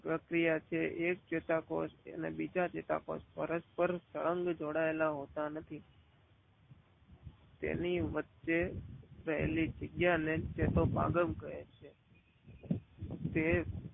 પ્રકિયા છે એક ચેતાકોષ બીજા ચેતાકોષ પરસ્પર અંગ જોડાયેલા હોતા નથી. તેની વચ્ચે રહેલી જગ્યા ને ચેતો પાગમ કહે છે. તે